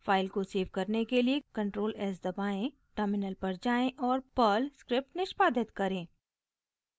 file को save करने के लिए ctrl+s दबाएं टर्मिनल पर जाएँ और पर्ल स्क्रिप्ट निष्पादित करें